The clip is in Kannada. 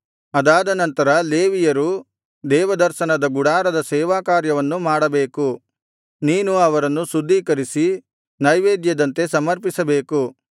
ಅದಾದ ನಂತರ ಲೇವಿಯರು ದೇವದರ್ಶನದ ಗುಡಾರದ ಸೇವಾಕಾರ್ಯವನ್ನು ಮಾಡಬೇಕು ನೀನು ಅವರನ್ನು ಶುದ್ಧೀಕರಿಸಿ ನೈವೇದ್ಯದಂತೆ ಸಮರ್ಪಿಸಬೇಕು